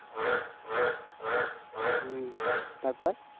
হু তারপর